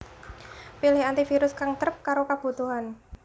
Pilih antivirus kang trep karo kabutuhan